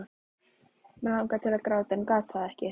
Mig langaði til að gráta en gat það ekki.